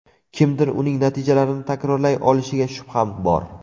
Kimdir uning natijalarini takrorlay olishiga shubham bor.